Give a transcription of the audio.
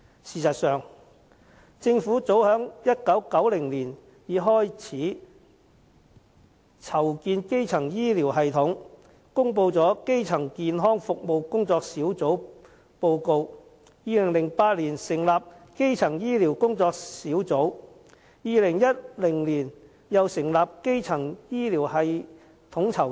事實上，政府早於1990年已開始籌建基層醫療系統，公布了《基層健康服務工作小組報告書》，2008 年成立基層醫療工作小組 ，2010 年又成立基層醫療統籌處。